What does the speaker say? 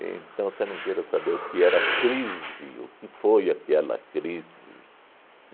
Então, você não queira saber o que era crise, o que foi aquela crise.